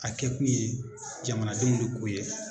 A kɛkun ye jamanadenw minnu kun ye